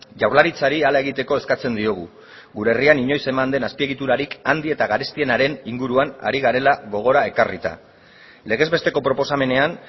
jaurlaritzari hala egiteko eskatzen diogu gure herrian inoiz eman ez den azpiegiturarik handi eta garestienaren inguruan ari garela gogora ekarrita legez besteko proposamenean